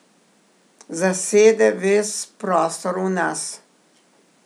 Zasede ves prostor v nas.